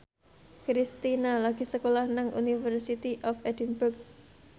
Kristina lagi sekolah nang University of Edinburgh